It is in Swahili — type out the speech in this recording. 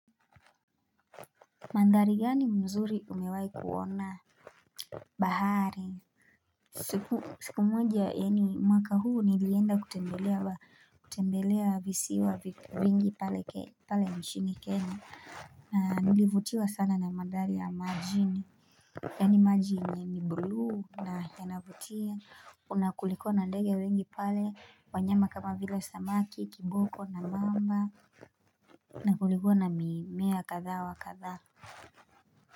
Mandari gani mzuri umewai kuona bahari? Siku moja yani, mwaka huu nilienda kutembelea visiwa wengi pale mchini kenya. Na nilivutiwa sana na mandari ya majini. Yani majini ni buluu na yanavutia. Na kulikuwa na ndege wengi pale, wanyama kama vile samaki kiboko na mamba. Na kulikuwa na mimea kadha wa kadha.